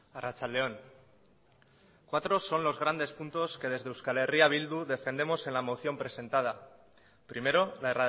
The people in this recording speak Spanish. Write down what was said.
arratsalde on cuatro son los grandes puntos que desde eh bildu defendemos en la moción presentada primero la